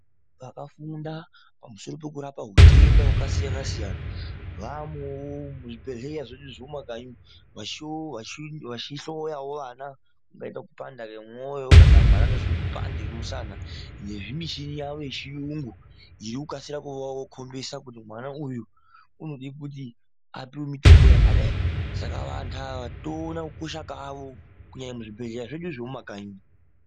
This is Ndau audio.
Vakafunda pamusoro pekurapa hutenda hwakasiyana siyana vamowo muzvibhedhlera zvedu zvemumakanyi vachihloyawo vana vangaita kupanda kwemwoyo kana mwana ane zvipandi zvemusana nezvimichini yawo yechiyungu zvinokasira kuvakombisa kuti mwana uyu unode kuti apiwe mutombo yakadai saka vantu ava toona kukosha kwavo kunyanya muzvibhedhlera zvedu zvemumakanyi .